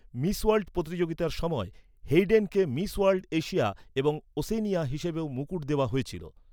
Miss World প্রতিযোগিতার সময় হেইডেনকে "মিস ওয়ার্ল্ড এশিয়া এবং ওশেনিয়া" হিসেবেও মুকুট দেওয়া হয়েছিল।